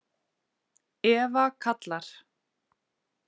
Eva kallar.